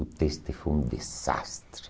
O teste foi um desastre.